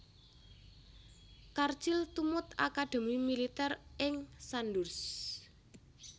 Churchill tumut akadhemi militèr ing Sandhurst